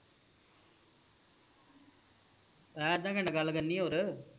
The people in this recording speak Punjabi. ਹੇ ਅੱਧਾ ਘੰਟਾ ਗੱਲ ਕਰਨੀ ਹੋਰ